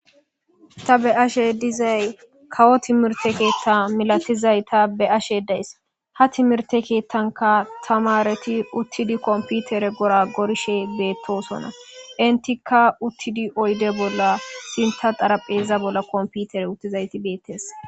Ta beashe dizay kawo timirte keetta milatizay ta be ashe days ha timirte keettanka tamareti uttidi komputere gora gorishe beettosonna intikka uttidi oyde bolla sinta xarapheza bolla komputere uttizayti beettees.